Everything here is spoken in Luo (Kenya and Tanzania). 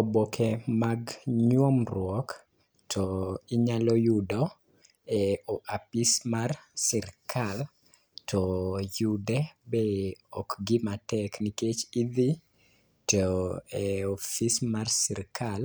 Oboke mag nyuomruok to inyalo yudo e o apis mar sirkal to yude be ok gima tek , nikech idhi to e ofis mar sirikal